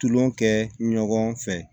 Tulon kɛ ɲɔgɔn fɛ